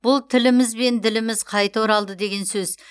бұл тіліміз бен діліміз қайта оралды деген сөз